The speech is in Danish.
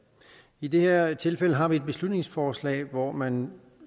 i det her tilfælde har vi et beslutningsforslag hvor man